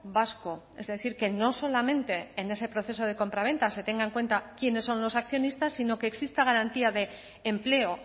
vasco es decir que no solamente en ese proceso de compraventa se tenga en cuenta quiénes son los accionistas sino que exista garantía de empleo